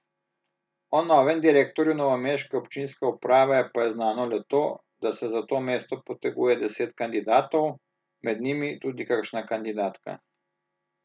O novem direktorju novomeške občinske uprave pa je znano le to, da se za to mesto poteguje deset kandidatov, med njimi tudi kakšna kandidatka.